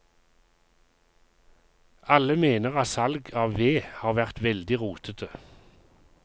Alle mener at salg av ved har vært veldig rotete.